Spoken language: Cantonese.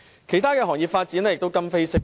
其他行業的發展也今非昔比。